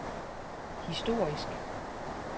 historisk